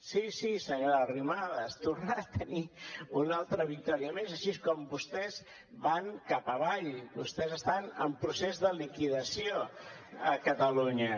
sí sí senyora arrimadas tornarà a tenir una altra victòria més així com vostès van cap avall vostès estan en procés de liquidació a catalunya